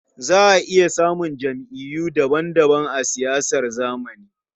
Za a iya samun jam'iyyu daban-daban a siyasar zamani.